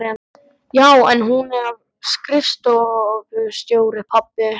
Já, en hún er skrifstofustjóri, pabbi!